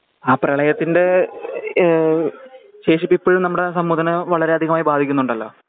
ആ പ്രെളയത്തിന്റെ ഏഹ് ശേഷിപ്പ് ഇപ്പഴും നമമടെ സമൂഹത്തനെ വളരെയധികമായി ബാധിക്കുന്നുണ്ടലോ